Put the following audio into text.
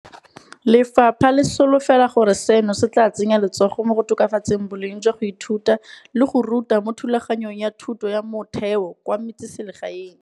Lefapha le solofela gore seno se tla tsenya letsogo mo go tokafatseng boleng jwa go ithuta le go ruta mo thulaganyong ya thuto ya motheo kwa metseselegaeng.